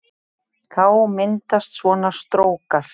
Þá myndast svona strókar